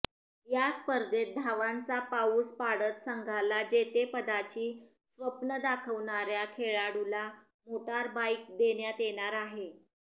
या स्पर्धेत धावांचा पाऊस पाडत संघाला जेतेपदाची स्वप्न दाखवणाऱ्या खेळाडूला मोटार बाईक देण्यात येणार आहे